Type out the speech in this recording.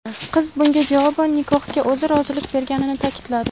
Qiz bunga javoban nikohga o‘zi rozilik berganini ta’kidladi.